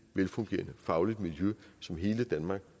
velfungerende fagligt miljø som hele danmark